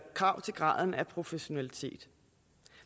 krav til graden af professionalisme